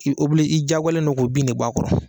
Ki i diyagoyalen don k'o bin nin bɔ a kɔrɔ.